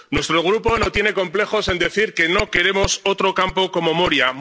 Nuestro Grupo no tiene complejos en decir que no queremos otro campo como el de Moria.